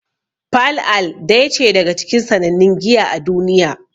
Pale Ale daya ce daga cikin sannannun giya a duniya.